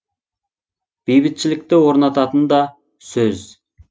бейбітшілікті орнататын да сөз